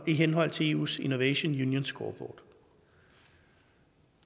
i henhold til eus innovation union scoreboard